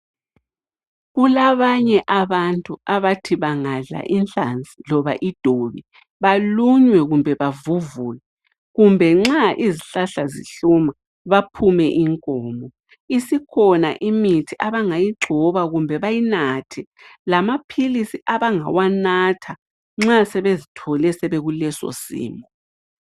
Kulabanye abantu abathi bangadla inhlazi loba idobi balunywe kumbe bavuvuke kumbe nxa izihlahla zihlume baphume inkomo, isikhona imithi abangayigcoba kumbe bayinathe lamaphilisi abangawanatha nxa sebezithole bekuleso simo